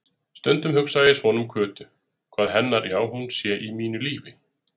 Stundum hugsa ég svona um Kötu, hvað hennar já-hún sé í mínu lífi.